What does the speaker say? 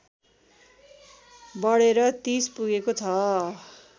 बढेर ३० पुगेको छ